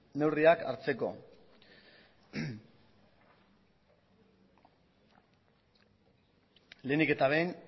neurriak hartzeko lehenik eta behin